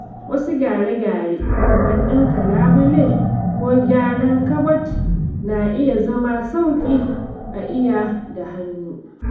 Wasu gyare-gyare kamar ɗinka labule ko gyaran kabad na iya zama sauƙi a yi da hannu.